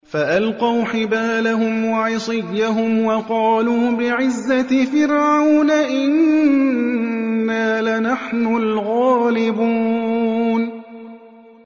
فَأَلْقَوْا حِبَالَهُمْ وَعِصِيَّهُمْ وَقَالُوا بِعِزَّةِ فِرْعَوْنَ إِنَّا لَنَحْنُ الْغَالِبُونَ